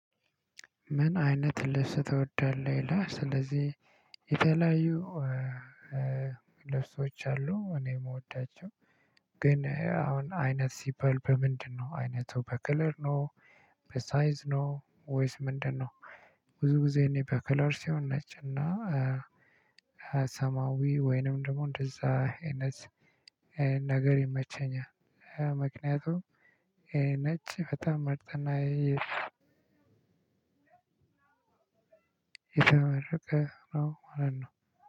ምን አይነት ልብስ ትወዳለህ? ይላል ስለዚህ የተለያዩ ልብሶች አሉ። እኔ የምወዳቸው ግን አሁን አይነት ሲባል በምንድን ነው? ዓይነቱ በክለር ነው በሳይዝ ነው ወይስ ምንድን ነው? ብዙ ጊዜ እኔ በከለር ሲሆን ነጭ እና ሰማያዊ ወይንም ደግሞ እንደዛ አይነት ነገር ይመቸኛል። ምክንያቱም ነጭ በጣም ምርጥና የተመረጠ ነው ማለት ነው